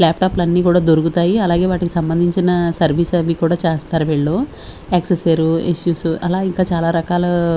Lap top అన్నీ కూడా దొరుకుతాయి అలాగే వాటికి సంబంధించిన సర్వీస్ అవి కూడా చేస్తారు వీళ్ళు యక్సెసేర్ ఇష్యూస్ అలా ఇంకా చాలా రకాల.